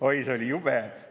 Oi, see oli jube!